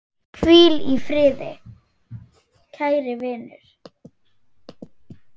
Hvíl í friði, kæri vinur.